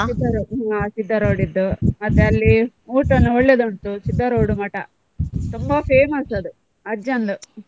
ಹಾ Siddaruda ಇದ್ದು ಮತ್ತೆ ಅಲ್ಲಿ ಊಟಾನು ಒಳ್ಳೇದ್ ಉಂಟು Siddaruda ಮಠ ತುಂಬಾ famous ಅದು ಅಜ್ಜಂದು.